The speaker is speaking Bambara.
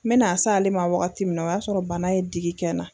N na s'ale ma wagati min na o y'a sɔrɔ bana ye digi kɛ n na.